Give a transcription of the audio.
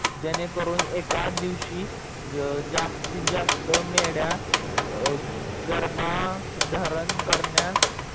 जेणेकरून एकादिवशी जास्तीत, जास्त मेंढया गर्भधारण करण्या